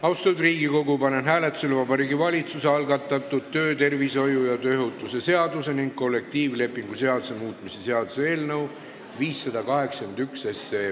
Austatud Riigikogu, panen hääletusele Vabariigi Valitsuse algatatud töötervishoiu ja tööohutuse seaduse ning kollektiivlepingu seaduse muutmise seaduse eelnõu 581.